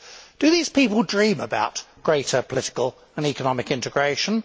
Do these people dream about greater political and economic integration?